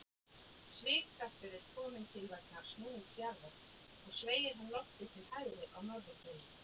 Svigkraftur er til kominn vegna snúnings jarðar og sveigir hann loftið til hægri á norðurhveli.